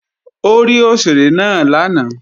Ó rí òṣèré náà lánàá